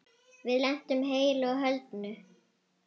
Við lentum heilu og höldnu.